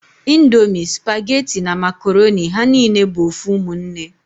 Ndomi, supageti na makoroni ha nine bu ofu umunne